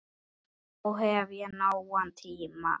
Þá hef ég nógan tíma.